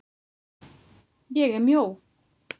ÉG ER MJÓ.